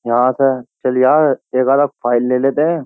यहाँ से चल यार एक आधा फाइल ले लेते हैं।